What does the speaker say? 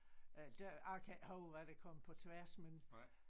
Øh det jeg kan ikke huske hvad der kom på tværs men